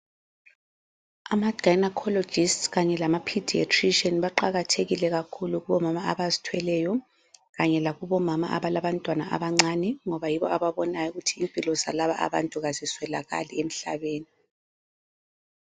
Ama gynaecologist kanye lama paediatrician baqakathekile kakhulu kubomama abazithweleyo kanye lakubomama abalabantwana abancane ngoba yibo ababona ukuthi impilo zalaba abantu aziswelakali emhlabeni